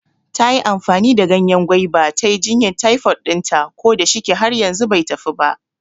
Tayi amfani da ganyen gwaiba ta yi jinyan taifod ɗinta, ko da shike har yanzu bai tafi ba